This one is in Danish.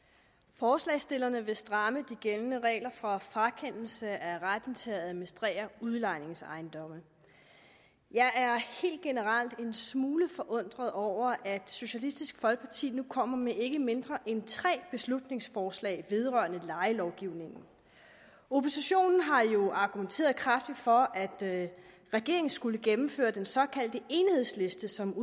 forslagsstillerne vil stramme de gældende regler for frakendelse af retten til at administrere udlejningsejendomme jeg er helt generelt en smule forundret over at socialistisk folkeparti nu kommer med ikke mindre end tre beslutningsforslag vedrørende lejelovgivningen oppositionen har jo argumenteret kraftigt for at regeringen skulle gennemføre den såkaldte enhedsliste som